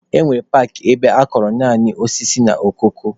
E nwere paakị ebe akọrọ naanị osisi na okoko.